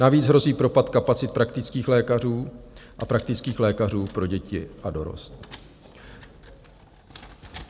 Navíc hrozí propad kapacit praktických lékařů a praktických lékařů pro děti a dorost.